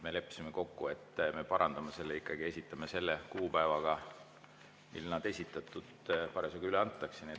Me leppisime kokku, et me parandame selle ja ikkagi esitame selle kuupäevaga, mil eelnõu esitatud on ja parasjagu üle antakse.